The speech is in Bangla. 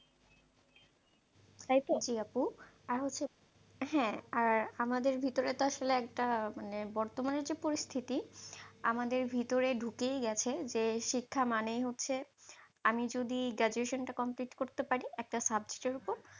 হ্যাঁ আর আমাদের ভিতরে তো আসলে একটা মানে বর্তমানে যে পরিস্থিতি, আমাদের ভেতরে ঢুকেই গেছে যে, শিক্ষা মানেই হচ্ছে আমি যদি graduation টা complete করতে পারি? একটা subject এর ওপর,